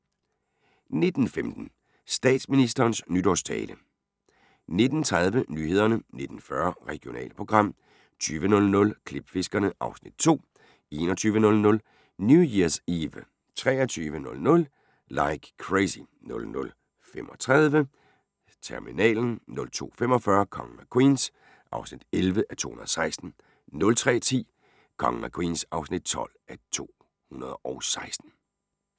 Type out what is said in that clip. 19:15: Statsministerens nytårstale 19:30: Nyhederne 19:40: Regionalprogram 20:00: Klipfiskerne (Afs. 2) 21:00: New Year's Eve 23:00: Like Crazy 00:35: Terminalen 02:45: Kongen af Queens (11:216) 03:10: Kongen af Queens (12:216)